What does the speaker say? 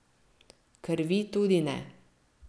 Krvi tudi ne.